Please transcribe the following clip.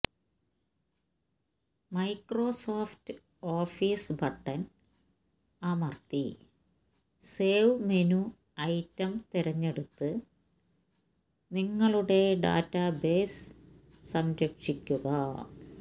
Microsoft office button അമർത്തി save menu item തിരഞ്ഞെടുത്ത് നിങ്ങളുടെ ഡാറ്റാബേസ് സംരക്ഷിക്കുക